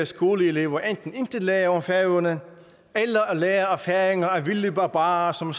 skoleelever enten intet lærer om færøerne eller lærer at færinger er vilde barbarer som